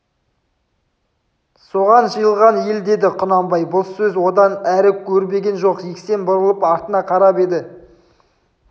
соған жиылған ел деді құнанбай бұл сөз одан әрі өрбіген жоқ жексен бұрылып артына қарап еді